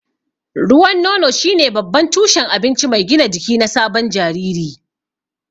Ruwan nono shine babban tushen abinci mai gina jiki na sabon jariri.